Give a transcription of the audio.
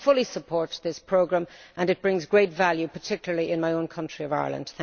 However, I fully support this programme and it brings great value, particularly in my own country of Ireland.